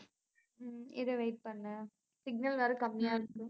உம் இரு wait பண்ணு signal வேற கம்மியா இருக்கு